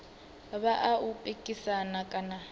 vha a u pikisana kana